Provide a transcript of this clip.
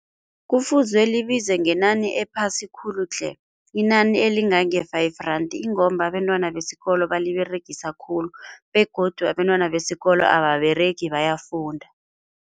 Kufuze libize ngenani ephasi khulu tle. Inani elingange-five rand ingomba abentwana besikolo baliberegisa khulu begodu abentwana besikolo ababeregi bayafunda.